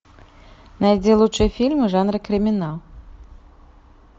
найди лучшие фильмы жанра криминал